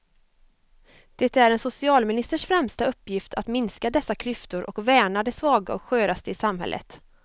Det är en socialministers främsta uppgift att minska dessa klyftor och värna de svaga och sköraste i samhället.